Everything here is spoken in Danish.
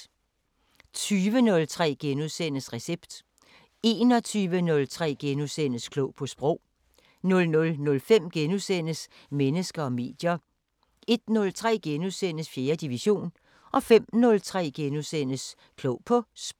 20:03: Recept * 21:03: Klog på Sprog * 00:05: Mennesker og medier * 01:03: 4. division * 05:03: Klog på Sprog *